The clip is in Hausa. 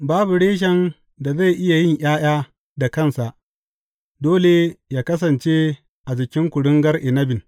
Babu reshen da zai iya yin ’ya’ya da kansa, dole yă kasance a jikin kuringar inabin.